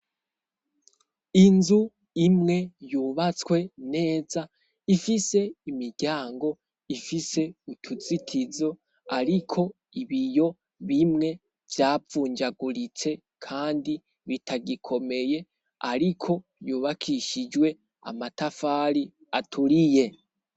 Inzu imwe yubatswe neza ifise imiryango, ifise utuzitiro ariko ibiyo bimwe vyavunjaguritse kandi bitagikomeye, ariko yubakishijwe amatafari aturiye.